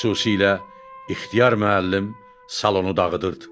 Xüsusilə İxtiyar müəllim salonu dağıdırdı.